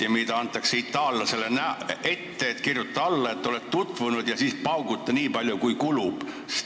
Itaallasele antakse ette kümme punkti, et kirjuta alla, et oled tutvunud, ja siis pauguta nii palju, kui kulub!